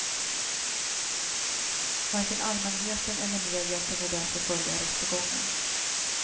Varken allmänheten eller media kunde därför följa rättegången.